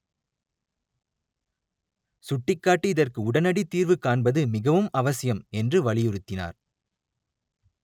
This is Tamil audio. சுட்டிக்காட்டி இதற்கு உடனடித்தீர்வு காண்பது மிகவும் அவசியம் என்று வலியுறுத்தினார்